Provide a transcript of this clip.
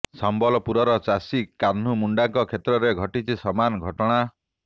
ସମ୍ବଲପୁରର ଚାଷୀ କାହ୍ନୁ ମୁଣ୍ଡାଙ୍କ କ୍ଷେତ୍ରରେ ଘଟିଛି ସମାନ ଘଟଣା